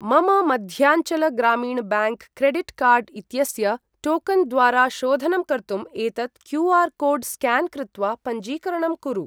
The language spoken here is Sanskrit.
मम Madhyanchal Gramin bank credit card इत्यस्य टोकन् द्वारा शोधनं कर्तुम् एतत् क्यू.आर्.कोड् स्क्यान् कृत्वा पञ्जीकरणं कुरु।